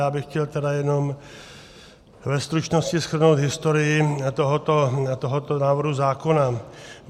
Já bych chtěl tedy jenom ve stručnosti shrnout historii tohoto návrhu zákona.